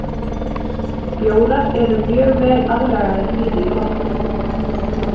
Bjórar erum mjög vel aðlagaðir lífi í vatni.